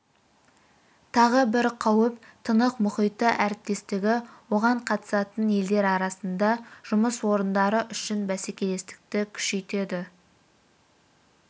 тағы бір қауіп тынық мұхиты әріптестігі оған қатысатын елдер арасында жұмыс орындары үшін бәсекелестікті күшейтеді